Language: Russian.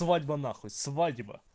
свадьба нахуй свадьба